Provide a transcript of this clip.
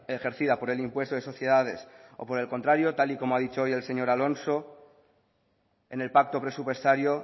ejercida por el impuesto de sociedades o por el contrario tal y como ha dicho hoy el señor alonso en el pacto presupuestario